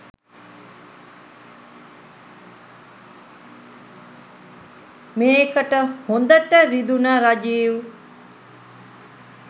මේකට හොඳට රිදුන රජීව්